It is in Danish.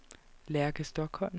Lærke Stokholm